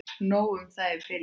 Nóg um það í bili.